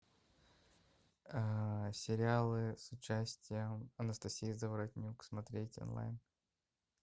сериалы с участием анастасии заворотнюк смотреть онлайн